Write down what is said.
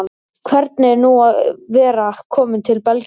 Hvernig er nú að vera kominn til Belgíu?